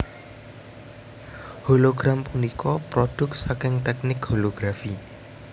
Hologram punika prodhuk saking teknik holografi